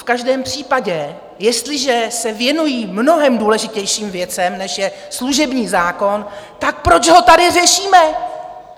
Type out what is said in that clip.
V každém případě, jestliže se věnují mnohem důležitějším věcem, než je služební zákon, tak proč ho tady řešíme?